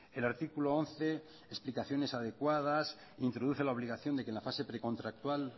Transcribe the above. el artículo once explicaciones adecuadas introduce la obligación de que la fase precontractual